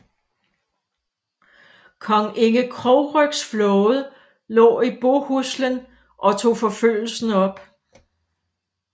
Kong Inge Krogrygs flåde lå i Bohuslen og tog forfølgelsen op